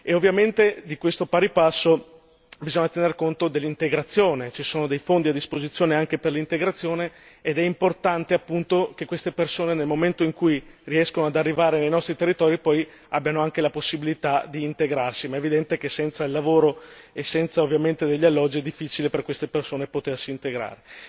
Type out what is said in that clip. ovviamente di questo, in pari passo, bisogna tener conto nell'integrazione, che ci siano dei fondi a disposizione anche per l'integrazione ed è importante appunto che queste persone nel momento in cui riescono ad arrivare nei nostri territori poi abbiano anche la possibilità di integrarsi, ma è evidente che senza il lavoro e senza ovviamente degli alloggi è difficile per queste persone potersi integrare.